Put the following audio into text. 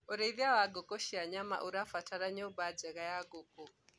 ũrĩithi wa ngũkũ cia nyama ũrabatara nyumba njega ya ngũkũ